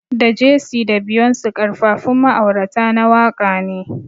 Da Jay-Z da Beyonce Karfafun ma'aurata na waka ne.